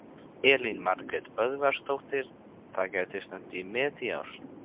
Elín Margrét Böðvarsdóttir: Það gæti stefnt í met í ár?